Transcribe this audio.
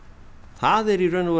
það er í raun og veru